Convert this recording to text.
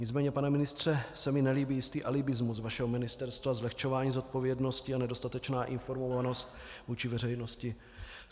Nicméně, pane ministře, se mi nelíbí jistý alibismus vašeho ministerstva, zlehčování zodpovědnosti a nedostatečná informovanost vůči veřejnosti.